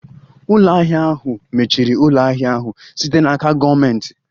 Ụlọ ahịa ahụ mechiri ụlọ ahịa ahụ site n'aka gọọmentị.